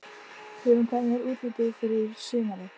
Hugrún: En hvernig er útlitið fyrir sumarið?